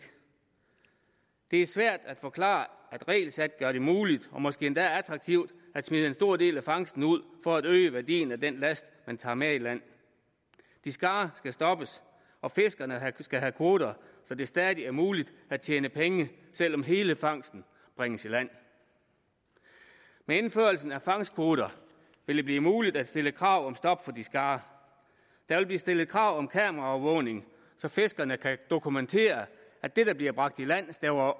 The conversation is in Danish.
det er svært at forklare at regelsæt gør det muligt og måske endda attraktivt at smide en stor del af fangsten ud for at øge værdien af den last man tager med i land discard skal stoppes og fiskerne skal have kvoter så det stadig er muligt at tjene penge selv om hele fangsten bringes i land med indførelsen af fangstkvoter vil det blive muligt at stille krav om stop for discard der vil blive stillet krav om kameraovervågning så fiskerne kan dokumentere at det der bliver bragt i land stemmer